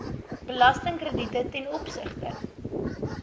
belastingkrediete ten opsigte